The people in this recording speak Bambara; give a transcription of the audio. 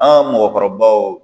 An ka mɔgɔkɔrɔbaw